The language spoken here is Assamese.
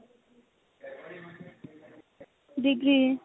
degree